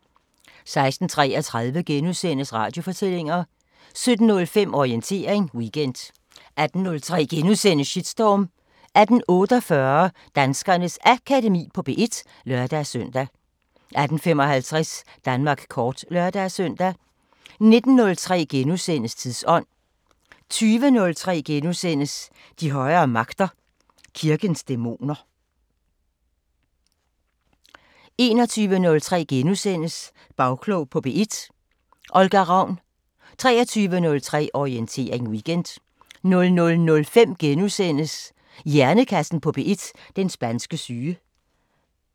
16:33: Radiofortællinger * 17:05: Orientering Weekend 18:03: Shitstorm * 18:48: Danskernes Akademi på P1 (lør-søn) 18:55: Danmark kort (lør-søn) 19:03: Tidsånd * 20:03: De højere magter: Kirkens dæmoner * 21:03: Bagklog på P1: Olga Ravn * 23:03: Orientering Weekend 00:05: Hjernekassen på P1: Den spanske syge *